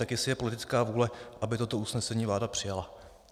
Tak jestli je politická vůle, aby toto usnesení vláda přijala.